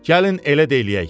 Gəlin elə də eləyək.